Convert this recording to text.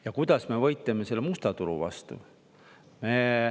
Ja kuidas me võitleme selle musta turu vastu?